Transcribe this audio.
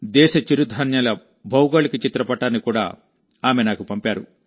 దేశ చిరుధాన్యాల భౌగోళిక చిత్ర పటాన్ని కూడా ఆమె నాకు పంపారు